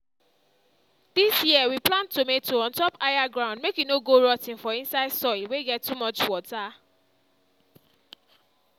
this year we plant tomato on top higher ground make e no go rot ten for inside soil wey get too much water.